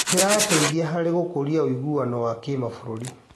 Kĩrateithia harĩ gũkũria ũiguano wa kĩmabũrũri.